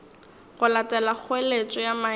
go latela kgoeletšo ya maemo